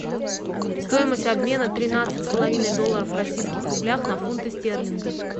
стоимость обмена тринадцать с половиной долларов в российских рублях на фунты стерлинга